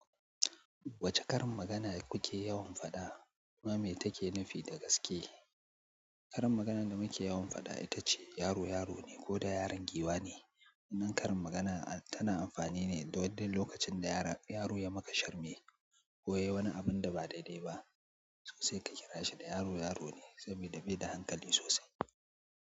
Wacce karin magana kuke yawan faɗa? Kuma me take nufi da gaske? Karin maganan da muke yawan faɗa ita ce, "yaro, yaro ne ko da yaron giwa ne". Wannan karin magana tana amfani ne don lokacin da yaro ya maka sharmi. Ko yayi wani abun da ba daidai ba. Sai ka kira shi da yaro, yaro ne sabida bai da hankali sosai.